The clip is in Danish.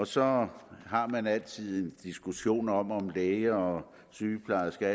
så har man altid en diskussion om hvorvidt læger og sygeplejersker